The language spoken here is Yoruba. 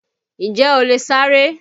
Ǹjẹ́ o lè sáré?